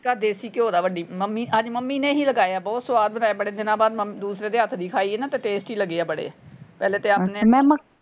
ਤੜਕਾ ਦੇਸੀ ਘਿਓ ਦਾ ਵੱਡੀ ਮੰਮੀ ਅੱਜ ਮੰਮੀ ਨੇ ਹੀ ਲਗਾਇਆ ਬਹੁਤ ਸੁਆਦ ਬਣਾਏ। ਬੜੇ ਦਿਨਾਂ ਬਾਅਦ ਮੰਮੀ ਦੂਸਰੇ ਦੇ ਹੱਥ ਦੀ ਖਾਈਏ ਨਾ ਤੇ tasty ਲੱਗੇ ਆ ਬੜੇ। ਪਹਿਲੇ ਤੇ ਆਪਣੇ।